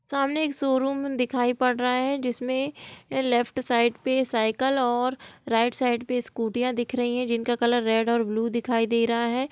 सामने एक शोरूम दिखाई पड़ रहा है जिसमे लेफ्ट साइड पे साइकिल और राइट साइड पे स्कूटी दिख रही है जिनका कलर रेड एण्ड ब्लू दिखाई दे रहा है।